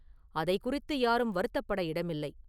அதைக் குறித்து யாரும் வருத்தப்பட இடமில்லை.